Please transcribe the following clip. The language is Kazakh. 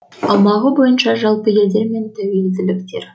аумағы бойынша жалпы елдер мен тәуелділіктер